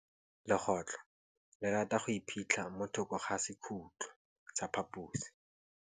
Legôtlô le rata go iphitlha mo thokô ga sekhutlo sa phaposi.